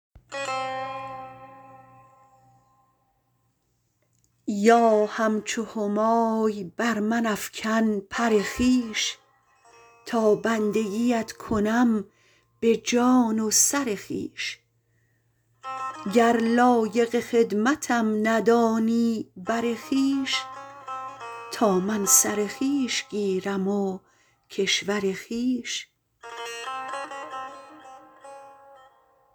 یا همچو همای بر من افکن پر خویش تا بندگیت کنم به جان و سر خویش گر لایق خدمتم ندانی بر خویش تا من سر خویش گیرم و کشور خویش